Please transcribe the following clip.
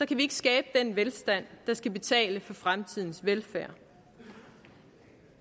kan vi ikke skabe den velstand der skal betale for fremtidens velfærd